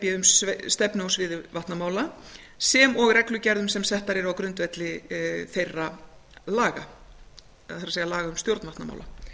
b um stefnu á sviði vatnamála sem og reglugerðum sem settar eru á grundvelli þeirra laga það er um stjórn vatnamála